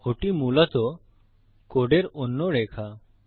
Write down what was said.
ওটি মূলত কোডের অন্য রেখা